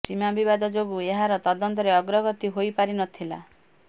ସୀମା ବିବାଦ ଯୋଗୁଁ ଏହାର ତଦନ୍ତରେ ଅଗ୍ରଗତି ହୋଇ ପାରି ନଥିଲା